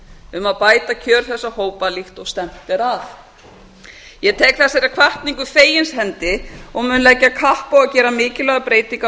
um að bæta kjör þessara hópa líkt og stefnt er að ég tek þessari hvatningu fegins hendi og mun leggja kapp á að gera mikilvægar breytingar á